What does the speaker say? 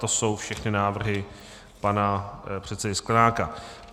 To jsou všechny návrhy pana předsedy Sklenáka.